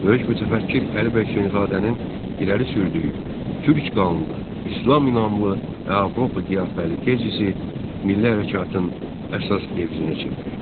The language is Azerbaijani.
Böyük mütəfəkkir Əli bəy Hüseynzadənin irəli sürdüyü "Türk qanlı, İslam inanlı və Avropa qiyafəli" tezisi milli hərəkatın əsas devizinə çevrildi.